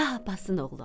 Şah Abbasın oğlu.